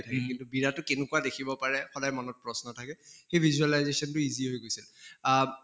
উম বিৰাটো কেনেকুৱা দেখিব পাৰে সদায় মনত প্ৰশ্ন থাকে, সেই visualization টো easy হৈ গৈছে আব